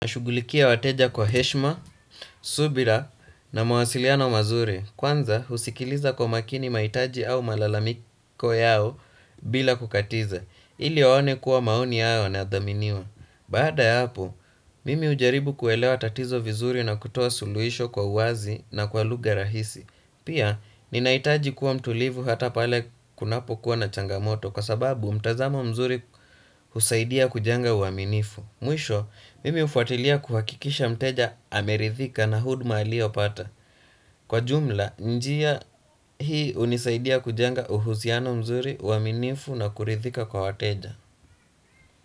Nashugulikia wateja kwa heshma, subira na mawasiliano mazuri. Kwanza, husikiliza kwa makini mahitaji au malalamiko yao bila kukatiza. Ili waone kuwa maoni yao yanathaminiwa. Bada ya hapo, mimi hujaribu kuelewa tatizo vizuri na kutoa suluhisho kwa uwazi na kwa lugha rahisi. Pia, ninahitaji kuwa mtulivu hata pale kunapokuwa na changamoto kwa sababu mtazamo mzuri husaidia kujenga uaminifu. Mwisho, mimi hufuatilia kuhakikisha mteja amerithika na huduma aliyopata. Kwa jumla, njia hii hunisaidia kujenga uhusiano mzuri uaminifu na kurithika kwa wateja.